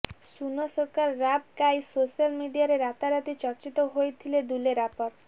ସୁନୋ ସର୍କାର ରାପ ଗାଇ ସୋସିଆଲ ମିଡିଆରେ ରାତାରାତି ଚର୍ଚ୍ଚିତ ହୋଇଥିଲେ ଦୁଲେ ରାପର